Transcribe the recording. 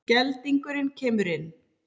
Geldingurinn kemur inn.